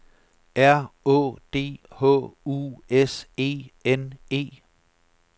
R Å D H U S E N E